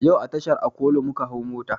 Yau a tashar okolo muka hau mota